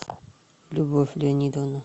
любовь леонидовна